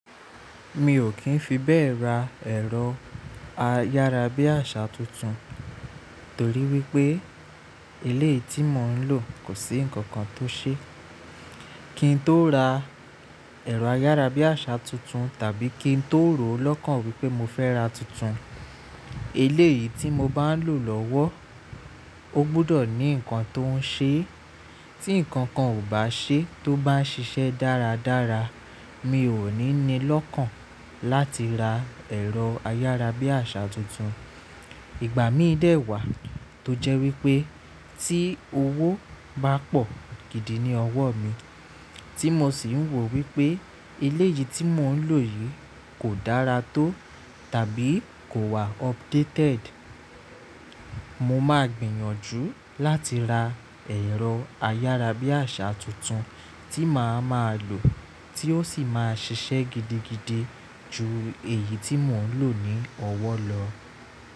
Mi ò kí ń fi bẹ́ẹ̀ ra ẹ̀rọ ayárabíàṣà tuntun, torí wípé eléyìí tí mò ń lò kò sí ǹkankan tó ń ṣe. Kí n tó ra ẹ̀rọ ayárabíàṣà tuntun tàbí kí n tó rò ó lọ́kàn wípé mo fẹ́ ra tuntun. Ilé yìí tí mo bá ń lò lọ́wọ́ ó gbọ́dọ̀ ní ǹkan tó ń ṣe. Tí ǹkankan ò bá ṣe tó bá ń ṣiṣẹ́ dáradára, mi ò ní ní lọ́kàn láti ra ẹ̀rọ ayárabíàṣà tuntun. Ìgbà mí dẹ̀ wá tó jẹ́ wípé tí owó bá pọ̀ gidi ní ọwọ́ mi, tí mo sì ń ro wípé eléyìí tí mò ń lò yìí kò dára tó tàbí kò wá updated, mo máa gbìyànjú láti ra ẹ̀rọ ayárabíàṣà tuntun tí màá máa lò tí ó sì máa ṣiṣẹ́ gidigidi ju èyí tí mò ń lò ní ọwọ́ lọ.